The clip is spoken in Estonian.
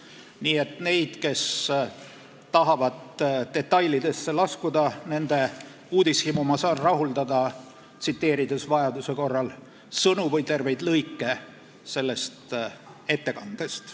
Nii et nende uudishimu, kes tahavad detailidesse laskuda, ma saan rahuldada, tsiteerides vajaduse korral sõnu või terveid lõike sellest ettekandest.